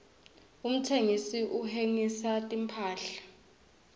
umtsengisi uhsengisa timphahla